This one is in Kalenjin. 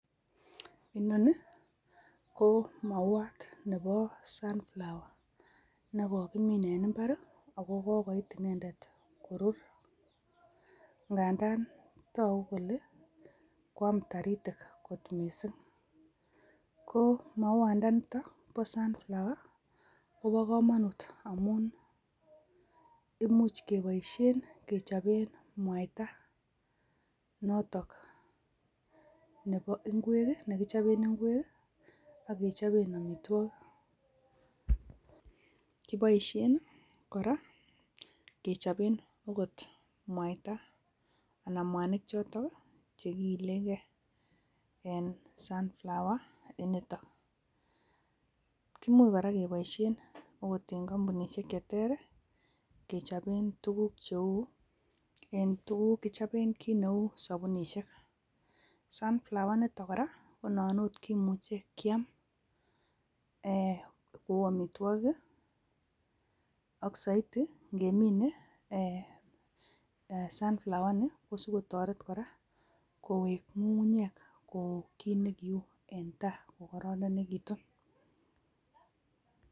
Inoni ko mauwat nepo sunflower. Nekokimin en imbar, ago kokoit indendet korur. Ngandan togu kole, kwam toritik ng'ot mising. Ko, mauwandanito bo sunflower , ko bo komonut amun, imuch keboisien kechopen mwaita notok nekichopen ingwek, akechopen omitwogik. Kiboisien kora ogot kechopen mwaita, anan mwanik chotok, chekiilenke. En sunflower initok. Imuch kora keboisien ogot en kombunisiek cheter, kechopen tuguk cheu, kichopen kiit neu sabunisiek. Sunflower initok kora , konan ot kimuche kiam kou, omitwogik, ak soiti ngemine sunflower initok kokikotoret kowek ng'ung'unyek kowek kokororonekitun kou kiit nekiu en tai.